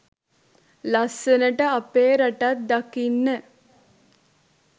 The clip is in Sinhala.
ලස්සනට අපේ රටත් දකින්න.